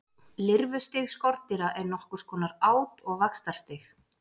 Lirfustig skordýra er nokkurs konar át- og vaxtarstig.